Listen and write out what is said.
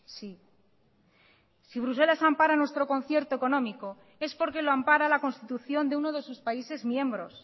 sí si bruselas ampara nuestro concierto económico es porque lo ampara la constitución de uno de sus países miembros